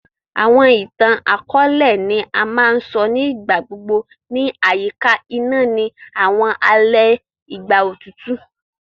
Àwọn ìtàn-àkóòlẹ̀ ni a ma n so ni ìgbà gbogbo ni àyíká iná ni àwọn alẹ ìgbà otutu.